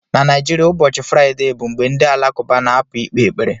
Na Naijiria, ụbọchị Fraịde bụ mgbe ndị Alakụba na-apụ ikpe ekpere